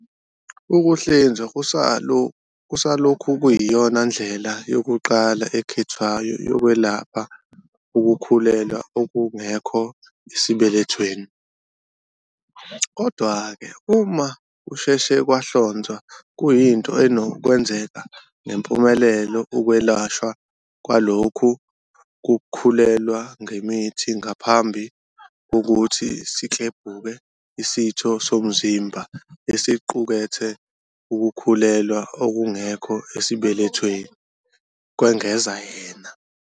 "Ukuhlinzwa kusalokhu kuyiyona ndlela yokuqala ekhethwayo yokwelapha ukukhulelwa okungekho esibelethweni, kodwa-ke uma kusheshe kwahlonzwa kuyinto enokwenzeka ngempumelelo ukwelashwa kwalokhu kukhulelwa ngemithi ngaphambi kokuthi siklebhuke isitho somzimba esiqukethe ukukhulelwa okungekho esibelethweni," kwengeza yena.